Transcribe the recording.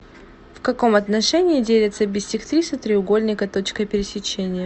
в каком отношении делятся биссектрисы треугольника точкой пересечения